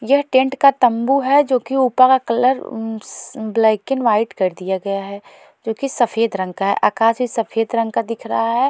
यह टेंट का तंबू है जो कि ऊपर का कलर ब्लैक एंड व्हाइट कर दिया गया है जो कि सफेद रंग का है आकाश भी सफेद रंग का दिख रहा है।